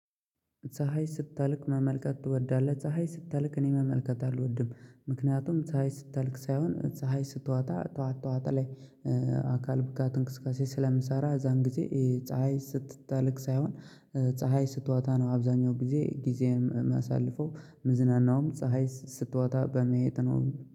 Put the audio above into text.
ፀሀይ ስጠልቅ መመልከት ትወዳለህ? ፀሀይ ስጠልክ እኔ መመልከት አልወድም። ምክንያቱም ፀሀይ ስጠልክ ሳይሆን ፀሀይ ስትዋጣ ጠዋት ጠዋት ላይ አካል ብቃት እንቅስቃሴ ስለምሰራ የዛን ጊዜ ፀሀይ ስትጠለቅ ሳይሆን ፀሀይ ስትዎጣ ነው። አብዛኛው ጊዜ ጊዜየን የማሳልፈው የምዝናናውም ፀሀይ ስትወጣ በማየት ነው።